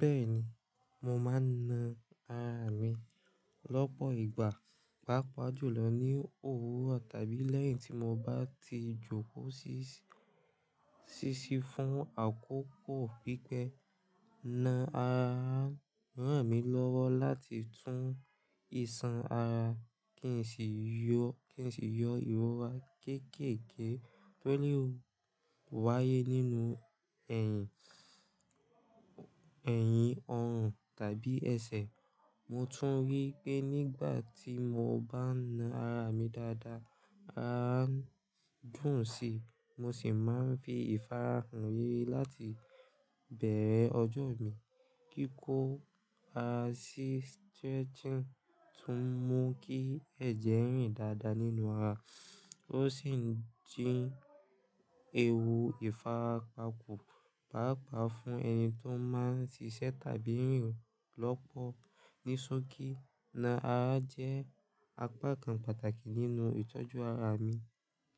Bẹ́ẹ̀ni, mo máa ń na ara mi lọ́pọ̀ ìgbà, pàápàá jùlọ ní òwúrọ̀ tàbí lẹ́yìn tí mo bá ti jókòó ṣíṣí fún àkókò pípẹ́. Na ara mi lọ́wọ́ láti tún ìsan ara kí n sì yọ ìrora kéékèèké tó le wáyé nínú ẹ̀yìn, ọrùn tàbí ẹsẹ̀. Mo tún rí pé nígbà tí mo bá na ara mi dáadáa, á dùn sí i, mo sì máa ń fi ìfarahàn yìí láti bẹ̀rẹ̀ ọjọ́ mi. Kíkó a sí stretching tún mú kí ẹ̀jẹ̀ rìn dáadáa nínú ara, ó sì ń dín ewu ìfarapa kù, pàápàá fún ẹni tó máa ń ṣíṣe tàbí rìn lọ́pọ̀lọpọ̀. Ní sókí, na ara jẹ́ apá kan pàtàkì nínú ìtọ́jú ara mi